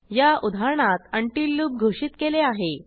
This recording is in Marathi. या उदाहरणात उंटील लूप घोषित केले आहे